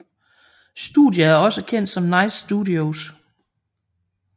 Studiet er også kendt som Nice Studios